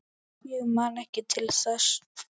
Ég man ekki til þess?